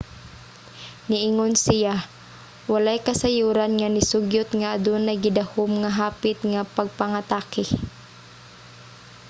niingon siya walay kasayuran nga nisugyot nga adunay gidahom nga hapit nga pagpangatake